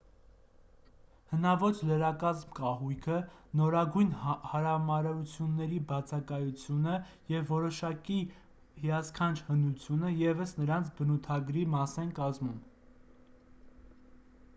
հնաոճ լրակազմ կահույքը նորագույն հարամարությունների բացակայությունը և որոշակի հիասքանչ հնությունը ևս նրանց բնութագրի մաս են կազմում